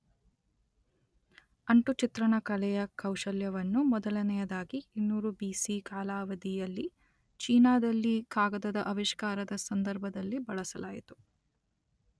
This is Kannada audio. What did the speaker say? ಅಂಟು ಚಿತ್ರಣ ಕಲೆಯ ಕೌಶಲ್ಯವನ್ನು ಮೊದಲನೆಯದಾಗಿ ಇನ್ನೂರು ಬಿ_letter ಸಿ_letter ಕಾಲಾವಧಿಯಲ್ಲಿ ಚೀನಾದಲ್ಲಿ ಕಾಗದದ ಆವಿಷ್ಕಾರದ ಸಂದರ್ಭದಲ್ಲಿ ಬಳಸಲಾಯಿತು.